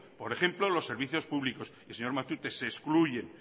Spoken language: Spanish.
por ejemplo los servicios públicos y señor matute se excluyen